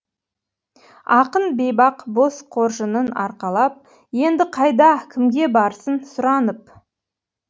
ақын бейбақ бос қоржынын арқалап енді қайда кімге барсын сұранып